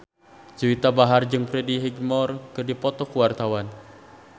Juwita Bahar jeung Freddie Highmore keur dipoto ku wartawan